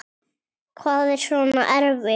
Hvað er svona erfitt?